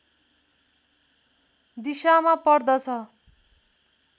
दिशामा पर्दछ